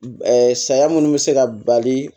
saya minnu bɛ se ka bali